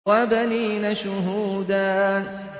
وَبَنِينَ شُهُودًا